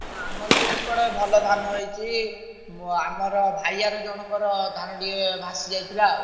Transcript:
ହଁ ଆମର ବି ଏପଟେ ଭଲ ଧାନ ହେଇଛି। ମୁଁ ଆମର ଭାୟାରେ ଜଣଙ୍କର ଧାନ ଟିକେ ଭାସି ଯାଇଥିଲା ଆଉ।